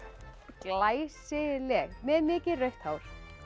glæsileg með mikið rautt hár